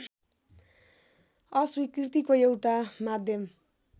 अस्वीकृतिको एउटा माध्यम